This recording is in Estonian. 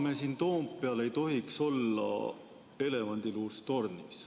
Me siin Toompeal ei tohiks olla elevandiluust tornis.